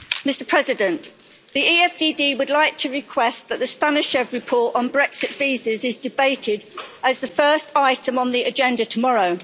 Mr President, the EFDD would like to request that the Stanishev report on Brexit visas is debated as the first item on the agenda tomorrow.